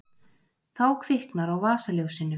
þá kviknar á vasaljósinu